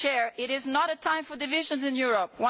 It is not a time for divisions in Europe.